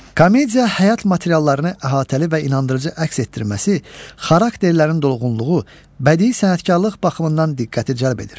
Komedya həyat materiallarını əhatəli və inandırıcı əks etdirməsi, xarakterlərin dolğunluğu, bədii sənətkarlıq baxımından diqqəti cəlb edir.